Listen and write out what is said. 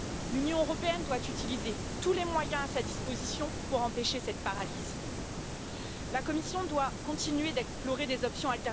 L'Union européenne doit utiliser tous les moyens à sa disposition pour empêcher cette paralysie. La Commission doit continuer d'explorer d'autres options.